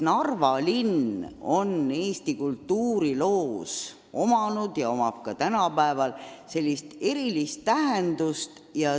Narva linn on Eesti kultuuriloos omanud ja omab ka tänapäeval erilist tähendust.